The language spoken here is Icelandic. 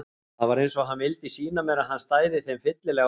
Það var eins og hann vildi sýna mér að hann stæði þeim fyllilega á sporði.